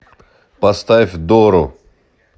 поставь дору